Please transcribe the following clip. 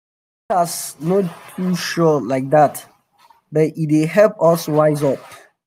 forecast no dey too sure like dat but e dey help us wise up